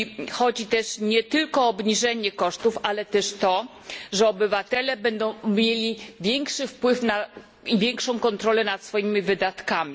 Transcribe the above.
Chodzi nie tylko o obniżenie kosztów, ale też o to, że obywatele będą mieli większy wpływ i większą kontrolę nad swoimi wydatkami.